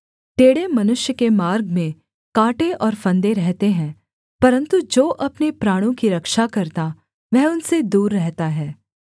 टेढ़े मनुष्य के मार्ग में काँटे और फंदे रहते हैं परन्तु जो अपने प्राणों की रक्षा करता वह उनसे दूर रहता है